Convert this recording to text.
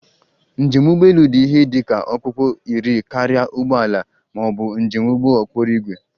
Njem ụgbọ elu dị ihe dị ka okpukpu iri karịa ụgbọ ala ma ọ bụ njem ụgbọ okporo ígwè